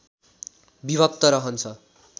विभक्त रहन्छ